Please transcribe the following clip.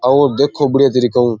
आओ देखो बढ़िया तरीको ऊ।